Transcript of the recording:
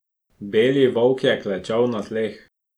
Beli Volk je klečal na tleh.